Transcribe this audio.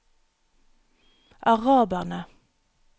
araberne